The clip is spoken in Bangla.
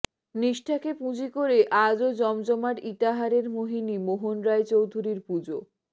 নিষ্ঠাকে পুঁজি করে আজও জমজমাট ইটাহারের মোহিনী মোহন রায় চৌধুরীর পুজো